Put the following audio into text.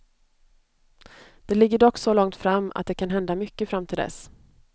Det ligger dock så långt fram, att det kan hända mycket fram till dess.